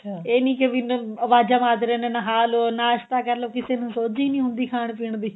ਇਹ ਨੀ ਕੇ ਵੀ ਅਵਾਜ਼ਾ ਮਾਰਦੇ ਰਹਿੰਦੇ ਆਂ ਨਹਾ ਲੋ ਨਾਸ਼ਤਾ ਕਰਲੋ ਕਿਸੇ ਨੂੰ ਸੋਜੀ ਹੀ ਨਹੀਂ ਹੁੰਦੀ ਖਾਣ ਪੀਣ ਦੀ